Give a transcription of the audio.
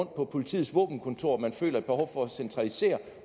på politiets våbenkontorer at man føler et behov for at centralisere